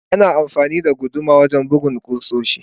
Ana amfani da guduma wajen bugun kusoshi.